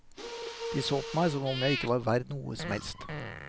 De så på meg som om jeg ikke var verdt noe som helst.